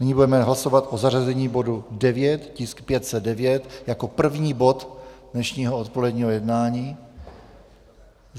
Nyní budeme hlasovat o zařazení bodu 9, tisk 509, jako první bod dnešního odpoledního jednání.